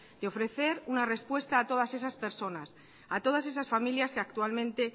de ofrecer una respuesta a todas esas personas a todas esas familias que actualmente